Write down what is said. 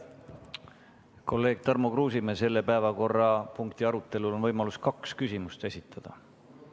Kolleeg Tarmo Kruusimäe, selle päevakorrapunkti arutelul on võimalus kaks küsimust esitada.